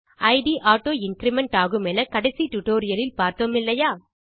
it auto increment ஆகுமென கடைசி tutorial இல் பார்த்தோம் இல்லையா